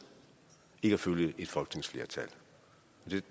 ikke at følge et folketingsflertal